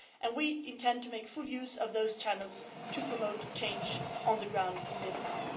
We intend to make full use of those channels to promote change on the ground in Vietnam.